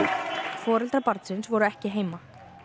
foreldrar barnsins voru ekki heima